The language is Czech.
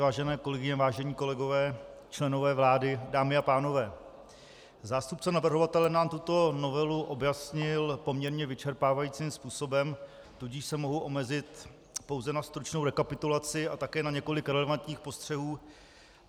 Vážené kolegyně, vážení kolegové, členové vlády, dámy a pánové, zástupce navrhovatele nám tuto novelu objasnil poměrně vyčerpávajícím způsobem, tudíž se mohu omezit pouze na stručnou rekapitulaci a také na několik relevantních postřehů.